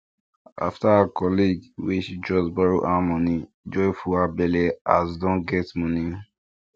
after her colleague wey she trust borrow am money joy full her belle as don get money